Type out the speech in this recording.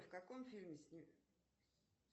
в каком фильме обр